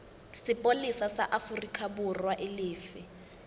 sepolesa sa aforikaborwa e lefe